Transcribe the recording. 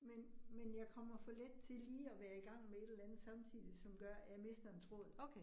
Men men jeg kommer for let til lige at være i gang med et eller andet samtidigt, som gør at jeg mister en tråd